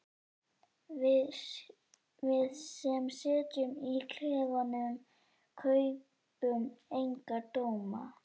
Við sem sitjum í klefunum kaupum enga dóma.